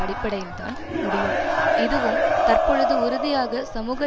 அடிப்படையில்தான் முடியும் இதுவும் தற்பொழுது உறுதியாக சமூக